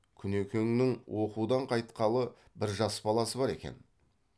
күнекеңнің оқудан қайтқан бір жас баласы бар екен